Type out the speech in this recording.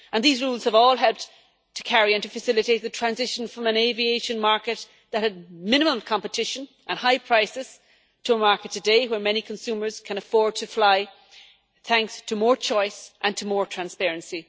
These rules have all helped to facilitate the transition from an aviation market that had minimum competition and high prices to a market today where many consumers can afford to fly thanks to more choice and to more transparency.